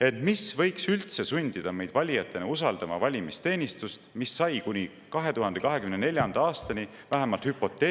Ent mis võiks üldse sundida meid valijatena usaldama valimisteenistust, mis sai kuni 2024. aastani vähemalt hüpoteetilise …